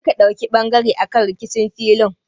Kar ka ɗauki ɓangare akan rikicin filin!